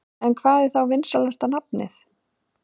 En hvað er þá vinsælasta nafnið?